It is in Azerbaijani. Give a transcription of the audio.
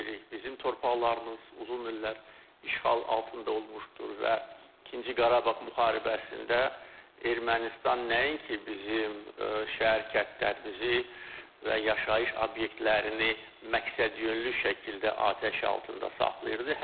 Bizim torpaqlarımız uzun illər işğal altında olmuşdur və İkinci Qarabağ müharibəsində Ermənistan nəinki bizim şəhər-kəndlərimizi və yaşayış obyektlərini məqsədyönlü şəkildə atəş altında saxlayırdı.